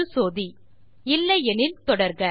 என்று சோதி இல்லை எனில் தொடர்க